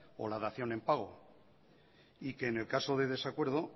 o la dación en pago y que en el caso de desacuerdo